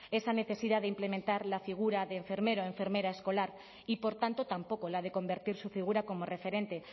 esa necesidad de implementar la figura de enfermero enfermera escolar y por tanto tampoco la de convertir su figura como referente